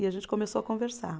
E a gente começou a conversar.